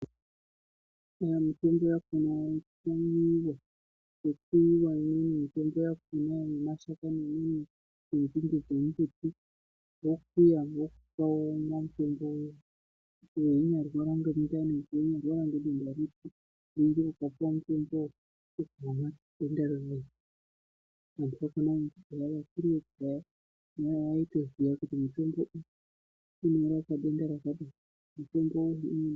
Imweni yakhona inokuyiwa nenzinde dzemiti kana muntu achirwara nemundani kana nedenta ripi vakuru vekudhaya vaiponesa vantu nekuti vaiziya kuti mitombo iyi inorapa denta riri.